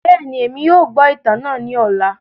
Bẹẹni, Emi yóò gbọ itan naa ni ọla.